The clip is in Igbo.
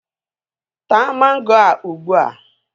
Taa mango a ugbua!